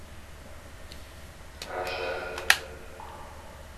раше